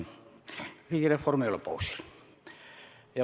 Riigireform ei ole pausil.